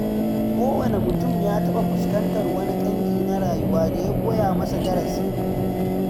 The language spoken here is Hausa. Kowane mutum ya taɓa fuskantar wani ƙangi na rayuwa da ya koya masa darasi.